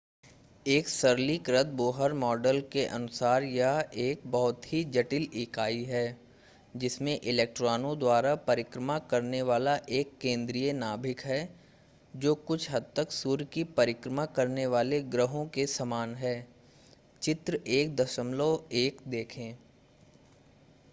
एक सरलीकृत Bohr model के अनुसार यह एक बहुत ही जटिल इकाई है जिसमें इलेक्ट्रॉनों द्वारा परिक्रमा करने वाला एक केंद्रीय नाभिक है जो कुछ हद तक सूर्य की परिक्रमा करने वाले ग्रहों के समान है चित्र 1.1 देखें